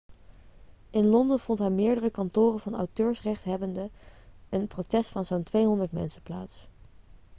in london vond bij meerdere kantoren van auteursrechthebbenden een protest van zo'n 200 mensen plaats